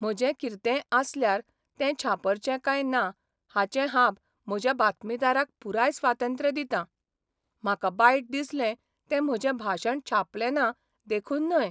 म्हजें किर्तेय आसल्यार तें छापर्चे काय ना हाचें हांब म्हज्या बातमीदाराक पुराय स्वातंत्र्य दितां. म्हाका बायट दिसलें तें म्हजें भाशण छापलें ना देखून न्हय.